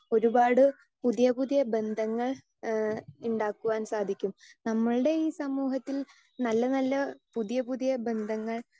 speaker 2 ഒരുപാട് പുതിയ പുതിയ ബന്ധങ്ങൾ ഏഹ് ഉണ്ടാക്കുവാൻ സാധിക്കും നമ്മളുടെ ഈ സമൂഹത്തിൽ നല്ല നല്ല പുതിയ പുതിയ ബന്ധങ്ങൾ